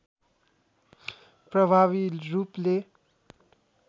प्रभावी रूपले